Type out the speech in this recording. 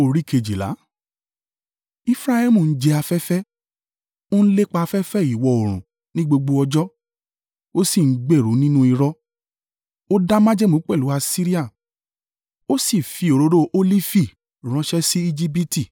Efraimu ń jẹ afẹ́fẹ́; o ń lépa afẹ́fẹ́ ìwọ̀-oòrùn ní gbogbo ọjọ́. O sì ń gbèrú nínú irọ́ o dá májẹ̀mú pẹ̀lú Asiria o sì fi òróró olifi ránṣẹ́ sí Ejibiti.